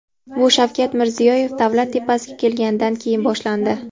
Bu Shavkat Mirziyoyev davlat tepasiga kelganidan keyin boshlandi.